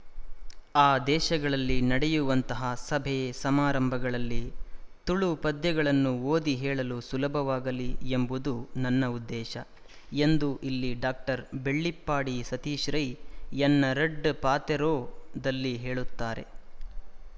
ಆ ದೇಶಗಳಲ್ಲಿ ನಡೆಯುವಂತಹ ಸಭೆ ಸಮಾರಂಭಗಳಲ್ಲಿ ತುಳು ಪದ್ಯಗಳನ್ನು ಓದಿ ಹೇಳಲು ಸುಲಭವಾಗಲಿ ಎಂಬುದು ನನ್ನ ಉದ್ದೇಶ ಎಂದು ಇಲ್ಲಿ ಡಾಕ್ಟರ್ ಬೆಳ್ಳಿಪ್ಪಾಡಿ ಸತೀಶ ರೈ ಎನ್ನ ರಡ್ಡ್ ಪಾತೆರೊದಲ್ಲಿ ಹೇಳುತ್ತಾರೆ